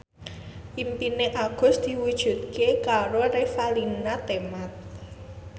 impine Agus diwujudke karo Revalina Temat